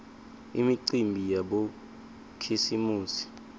imicimbi yabokhisimusi